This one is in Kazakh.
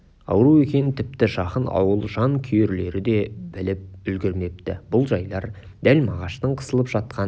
ауру екенін тіпті жақын ауыл жан күйерлері де біліп үлгірмепті бұл жайлар дәл мағаштың қысылып жатқан